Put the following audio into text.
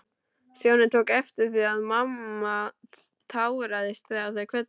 Stjáni tók eftir því að mamma táraðist þegar þau kvöddust.